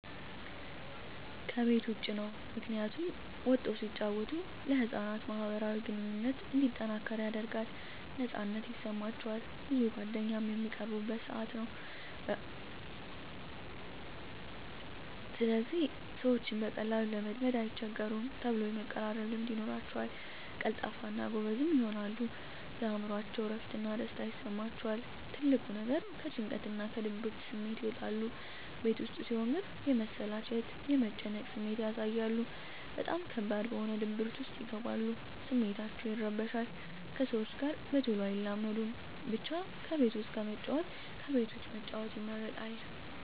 ከቤት ዉጭ ነዉ ምክንያቱም ወጠዉ ሲጫወቱ ለህፃናት ማህበራዊ ግንኙነቶች እንዲጠናከር ያደርጋል ነፃነት ይሰማቸዋል ብዙ ጓደኛም በሚቀርቡበት ሰአት ወይም በሚያፈሩበት ጊዜ ደስተኛ ይሆናሉ ለወደፊቱ ሰዎችን በቀላሉ ለመልመድ አይቸገሩም ተሎ የመቀራረብ ልምድ ይኖራቸዉል ቀልጣፋ እና ጎበዝም ይሆናሉ የእምሮአቸዉ እረፍት እና ደስታ ይሰማቸዋል ትልቁ ነገር ከጭንቀትና ከድብርት ስሜት ይወጣሉ ቤት ዉስጥ ሲሆን ግን የመሰላቸት የመጨነቅ ስሜት ያሳያሉ በጣም ከባድ በሆነ ድብርት ዉስጥ ይገባሉ ስሜታቸዉ ይረበሻል ከሰዎች ጋር በተሎ አይላመዱም ብቻ ከቤት ዉስጥ ከመጫወት ከቤት ዉጭ መጫወት ይመረጣል